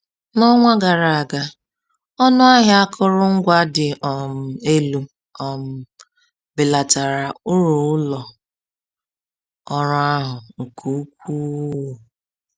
N’ọnwa gara aga, ọnụ ahịa akụrụngwa dị um elu um belatara uru ụlọ ọrụ ahụ nke ukwuu.